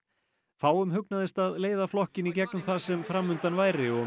fáum hugnaðist að leiða flokkinn í gegnum það sem fram undan væri og